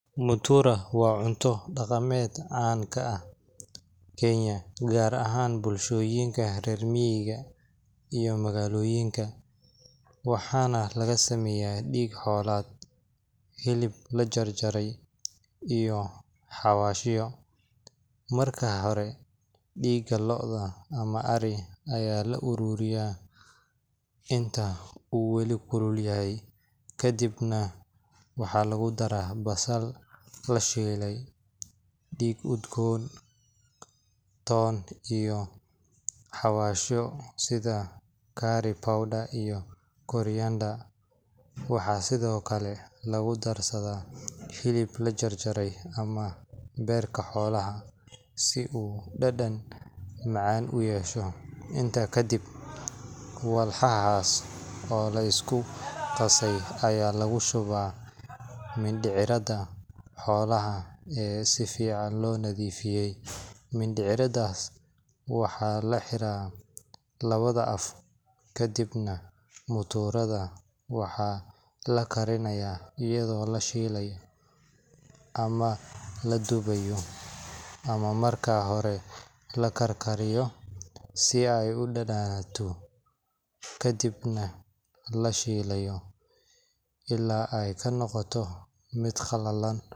Mutura waa cunto daqameed can ka ah kenya gar ahan bulshoyiinka rer miiga ah iyo bagaloyiinka, waxana laga sameyaa diig xolaad hilib lajar jare iyo xawashiyo, marka hore diga looda ama ari aya la aruriyaa inta u weeli kulul yahay kadiib nah waxaa lagu daraa basal lashilay diig udgon ton iyo xawasho sitha curry powder iyo koriyanda waxaa sithokale lagu darsatha hilib la jar jare ama berka xolaha si u dadan macan u yesho, intas kadiib walfaha oo lisku qase aya lagu shuwa mindiciradha xolaha si fican lo nadhiifiye, mindiciradhas waxaa laxira lawadha af kadiib nah muturadha waxaa lakariyaa ayadho la shilay ama ladubay ama marka hore lakar kariyo si ee u dananato, kadiib nah la shilo ila ee kanoqoto miid qalalan.